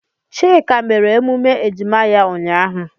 Chika mere emume ejima ya ụnyahụ.